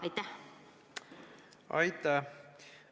Aitäh!